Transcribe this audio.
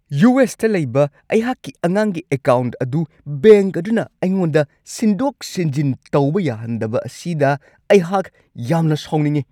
ꯌꯨ.ꯑꯦꯁ.ꯇ ꯂꯩꯕ ꯑꯩꯍꯥꯛꯀꯤ ꯑꯉꯥꯡꯒꯤ ꯑꯦꯀꯥꯎꯟꯠ ꯑꯗꯨ ꯕꯦꯡꯛ ꯑꯗꯨꯅ ꯑꯩꯉꯣꯟꯗ ꯁꯤꯟꯗꯣꯛ-ꯁꯤꯟꯖꯤꯟ ꯇꯧꯕ ꯌꯥꯍꯟꯗꯕ ꯑꯁꯤꯗ ꯑꯩꯍꯥꯛ ꯌꯥꯝꯅ ꯁꯥꯎꯅꯤꯡꯉꯤ꯫